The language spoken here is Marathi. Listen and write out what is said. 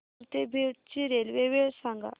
नगर ते बीड ची रेल्वे वेळ सांगा